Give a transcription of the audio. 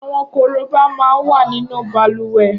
Awọn kóróbá má n wà ninu bàlùwẹ̀